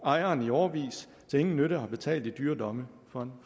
ejeren i årevis til ingen nytte har betalt i dyre domme for en